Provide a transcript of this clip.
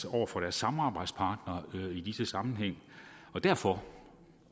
over for deres samarbejdspartnere i disse sammenhænge og derfor